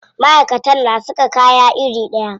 Maʼaikatan na saka kaya iri ɗaya.